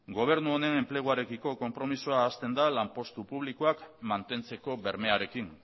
gobernu honen enpleguarekiko konpromezua hasten da lanpostu publikoak mantentzeko bermearekin